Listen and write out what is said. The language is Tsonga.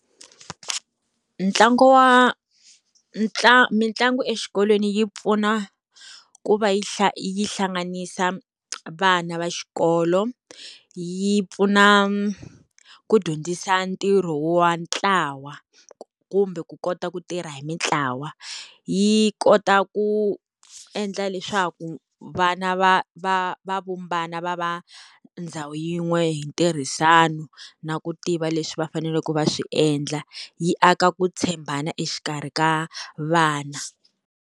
Ntlangu wa mitlangu exikolweni yi pfuna ku va yi yi hlanganisa vana va xikolo. Yi pfuna ku dyondzisa ntirho wa ntlawa kumbe ku kota ku tirha hi mintlawa. Yi kota ku endla leswaku vana va va va vumbana va va ndhawu yin'we hi ntirhisano na ku tiva leswi va faneleke va swi endla yi aka ku tshembana exikarhi ka vana.